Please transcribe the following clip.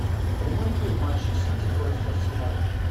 прямой эфир матча сити против арсенала